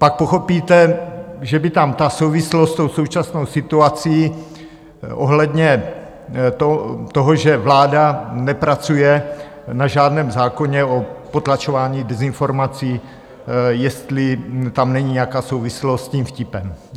Pak pochopíte, že by tam ta souvislost s tou současnou situací ohledně toho, že vláda nepracuje na žádném zákoně o potlačování dezinformací, jestli tam není nějaká souvislost s tím vtipem.